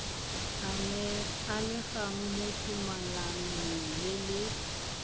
amegang mo tumalanong le le